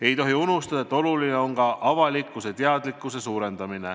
Ei tohi unustada, et oluline on ka avalikkuse teadlikkuse tõstmine.